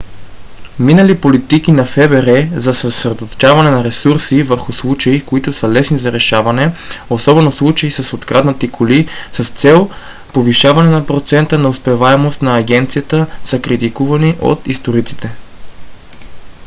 минали политики на фбр за съсредоточване на ресурси върху случаи които са лесни за решаване особено случаи с откраднати коли с цел повишаване на процента на успеваемост на агенцията са критикувани от историците